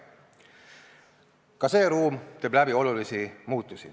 Ka see ruum teeb läbi olulisi muutusi.